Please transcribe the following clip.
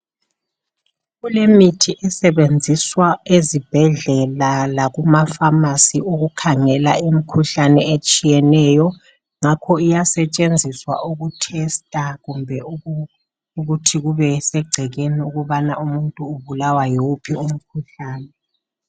Kulemithi esebenziswa ezibhedlela lakuma pharmacy ukukhangela imikhuhlane etshiyeneyo ngakho iyasetshenziswa uku tester kumbe ukuthi kubesegcekeni ukubana umuntu ubulawa yiwuphi umkhuhlane.